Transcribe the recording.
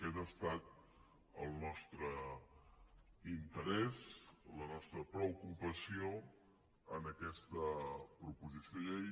aquest ha estat el nostre interès la nostra preocupació en aquesta proposició de llei